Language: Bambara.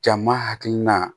Jama hakilina